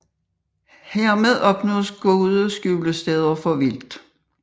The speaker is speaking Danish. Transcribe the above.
Hermed opnås gode skjulesteder for vildt